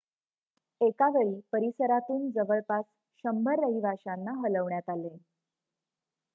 एकावेळी परिसरातून जवळपास १०० रहिवाश्यांना हलवण्यात आले